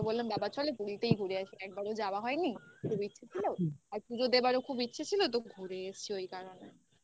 বাবাকে বললাম বাবা চলে পুরীতেই ঘুরে আসি. একবারও যাওয়া হয়নি. খুব ইচ্ছে ছিল. আর পুজো দেওয়ারও খুব ইচ্ছে ছিল তো ঘুরে এসছি ওই কারণে